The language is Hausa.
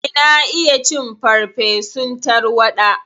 Eh, na iya cin farfesun tarwaɗa.